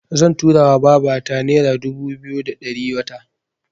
Zan tura wa babata nera dubu biyu da ɗari wata.